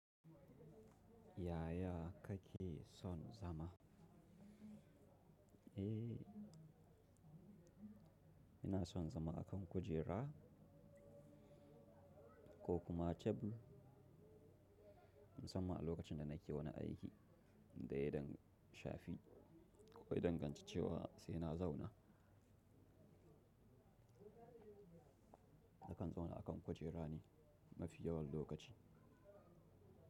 Yaya kake son zama? Eh, ina son zama a kan kujera ko kuma tebur, musamman a lokacin da nake wani aiki da ya dang sha fi ko dai danganci cewa sai na zauna. Nakan zauna a kan kujera ne mafi yawan lokaci.